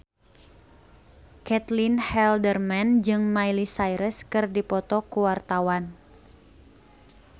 Caitlin Halderman jeung Miley Cyrus keur dipoto ku wartawan